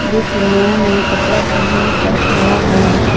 जो कि नया नया कपड़ा पहन कर खड़ा है।